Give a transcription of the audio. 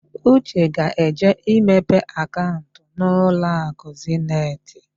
Uche ga-eje imepe akaụnt n'ụlọakụ Zeniti.